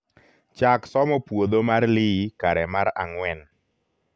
chak somo puodho mar lee kare mar angwen